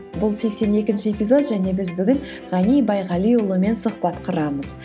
бұл сексен екінші эпизод және біз бүгін ғани байғалиұлымен сұхбат құрамыз